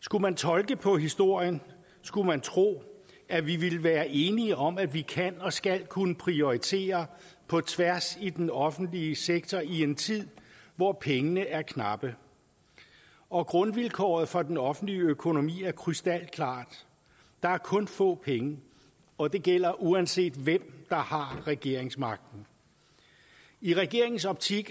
skulle man tolke på historien skulle man tro at vi ville være enige om at vi kan og skal kunne prioritere på tværs i den offentlige sektor i en tid hvor pengene er knappe og grundvilkåret for den offentlige økonomi er krystalklart der er kun få penge og det gælder uanset hvem der har regeringsmagten i regeringens optik